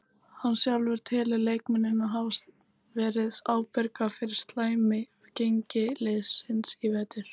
Hann sjálfur telur leikmennina hafa verið ábyrga fyrir slæmi gengi liðsins í vetur.